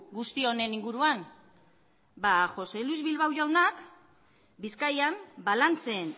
guzti honen inguruan ba jose luis bilbao jaunak bizkaian balantzen